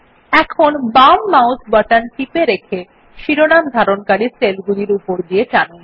এখন বাম mouse button টিপে রেখে শিরোনামে ধারণকারী সেল গুলির উপর দিয়ে টানুন